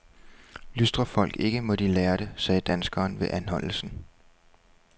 Lystrer folk ikke, må de lære det, sagde danskeren ved anholdelsen.